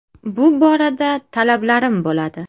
Bu borada talablarim bo‘ladi.